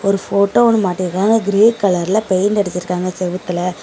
Photo ஒன்னு மாட்டி இருக்காங்க கிரே கலர்ல பெயிண்ட் அடிச்சிருக்காங்க செவுத்துல.